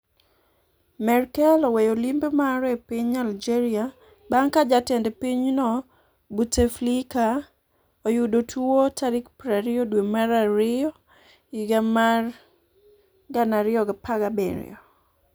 Merkel oweyo limbe mare e piny Algeria bang' ka Jatend pinyno Bouteflika oyudo tuo tarik 20 dwe mar Ariyo higa mar 2017